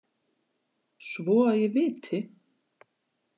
Svo að ég viti.